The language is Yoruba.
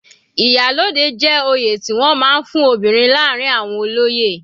Iyalode jẹ́ oyè tí wọ́n máa ń fún obìnrin láàrin àwọn olóyè.